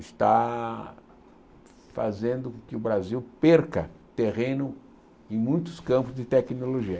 está fazendo com que o Brasil perca terreno em muitos campos de tecnologia.